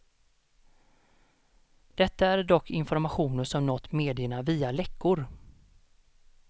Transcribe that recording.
Detta är dock informationer som nått medierna via läckor.